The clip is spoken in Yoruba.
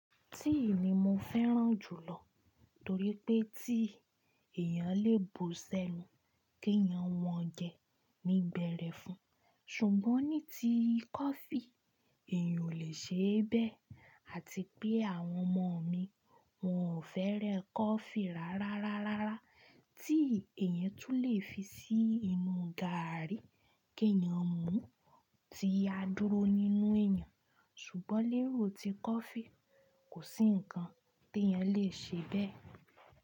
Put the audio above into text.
Tíì ni mo fẹ́ràn jùlọ torí pé tíì èèyàn lè bu sẹ́nu kí èèyàn wọn jẹ ní bẹ̀rẹ̀ fun, ṣùgbọ́n ní ti kọfí èèyàn ò lè ṣe bẹ́ẹ̀ àti pé àwọn ọmọ mi wọn ò fẹ́rẹ̀ kọfí rárá rárá rárá. Tíì èèyàn tún lè fi sí inú gààrí kí èèyàn mú tí a dúró nínú èèyàn, ṣùgbọ́n lero ti kọfí kò sí nǹkan tí èèyàn lè ṣe bẹ́ẹ̀.